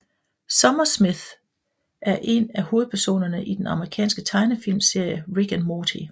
Summer Smith er en af hovedpersonerne i den amerikanske tegnefilmserie Rick and Morty